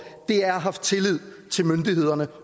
er at have haft tillid til myndighederne